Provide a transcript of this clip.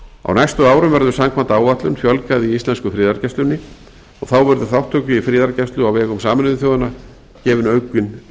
á næstu árum verður samkvæmt áætlun fjölgað í íslensku friðargæslunni og þá verður þátttöku í friðargæslu á vegum sameinuðu þjóðanna gefinn